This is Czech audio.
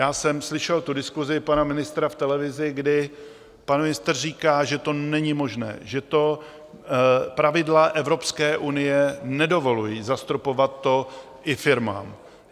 Já jsem slyšel tu diskusi pana ministra v televizi, kdy pan ministr říká, že to není možné, že to pravidla Evropské unie nedovolují, zastropovat to i firmám.